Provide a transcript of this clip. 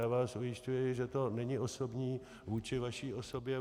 Já vás ujišťuji, že to není osobní vůči vaší osobě.